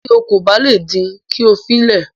Tí o kò bá le din, kí o fi le